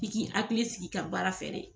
F'i k'i hakili sigi i ka baara fɛ de.